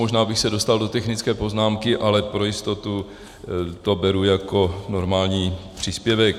Možná bych se dostal do technické poznámky, ale pro jistotu to beru jako normální příspěvek.